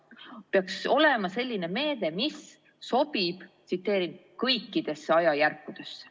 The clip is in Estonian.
See peaks olema selline meede, mis sobib "kõikidesse ajajärkudesse".